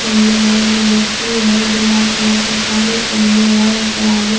पेनले है लड़की है जलाल कलर के सारी पहनले है --